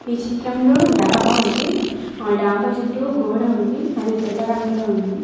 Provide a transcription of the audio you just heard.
ఈ చిత్రంలో డాబా ఉంది ఆ డాబా చుట్టూ కూడా ఉంది అది తెల్ల రంగులో ఉంది.